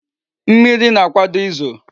Mmiri na-akwado izo